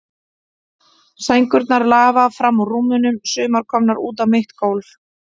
Sængurnar lafa fram úr rúmunum, sumar komnar út á mitt gólf.